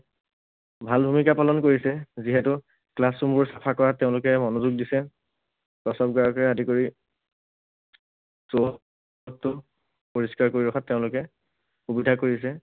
ভাল ভূমিকা পালন কৰিছে। যিহেতু classroom বোৰ চাফা কৰাত তেঁওলোকে মনোযোগ দিছে। প্ৰস্ৰাৱগাৰকে আদি কৰি চৌহদটোও পৰিষ্কাৰ কৰি ৰখাত তেওঁলোকে সুবিধা কৰিছে।